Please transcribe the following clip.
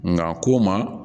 Nka ko n ma